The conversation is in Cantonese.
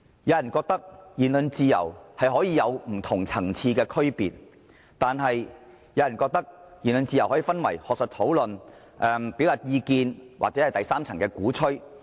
有人認為言論自由可以有不同層次的區別，又有人認為言論自由可以分為學術討論、表達意見或第三層的鼓吹。